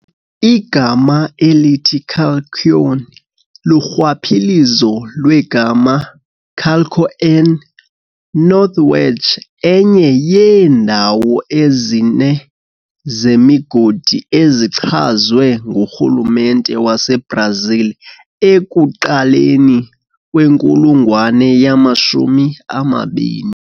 Igama elithi Calçoene lurhwaphilizo lwe "Calço N", North Wedge, enye yeendawo ezine zemigodi ezichazwe nguRhulumente waseBrazil ekuqaleni kwenkulungwane yama-20.